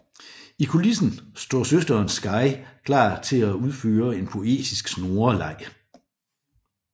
I kulissen står søsteren Sky klar til at udføre en poetisk snoreleg